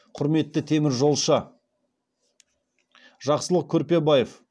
құрметті теміржолшы жақсылық көрпебаев